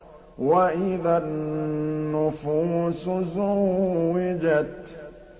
وَإِذَا النُّفُوسُ زُوِّجَتْ